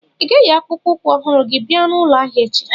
Ị ga-eyi akpụkpọ ụkwụ ọhụrụ gị bia n'ụlọ ahịa echi?